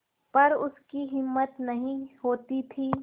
पर उसकी हिम्मत नहीं होती थी